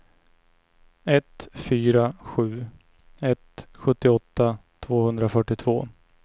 ett fyra sju ett sjuttioåtta tvåhundrafyrtiotvå